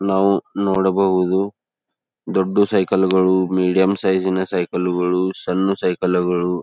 ನಾವು ನೋಡಬಹುದು ದೊಡ್ಡ ಸೈಕಲ್ ಗಳು ಮೀಡಿಯಂ ಸೈಜ್ ನ ಸೈಕಲ್ ಗಳು ಸಣ್ಣ ಸೈಕಲ್ ಗಳು --